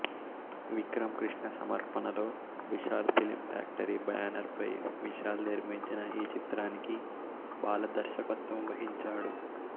విక్రమ్ కృష్ణ సమర్పణలో Vishal film factory banner పై విశాల్ నిర్మించిన ఈ చిత్రానికి బాల దర్శకత్వం వహించాడు